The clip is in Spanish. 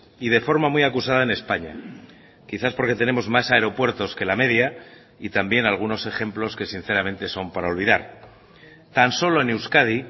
y de forma muy acusada en españa quizás porque tenemos más aeropuertos que la media y también algunos ejemplos que sinceramente son para olvidar tan solo en euskadi